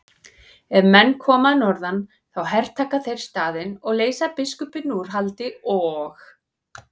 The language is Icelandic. Ef menn koma að norðan þá hertaka þeir staðinn og leysa biskupinn úr haldi og.